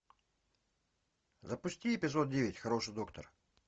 запусти эпизод девять хороший доктор